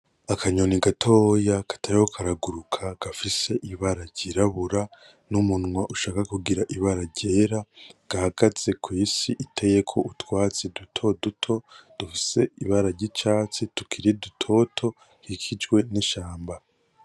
Akanyoni gatoya katariko karaguruka gafise ibara ryirabura, n'umunwa ushaka kugira ibara ryera, gahagaze kwisi iteyeko utwatsi dutoduto dufise ibara ryicatsi tukiri dutoto dukikijwe n'ishamba.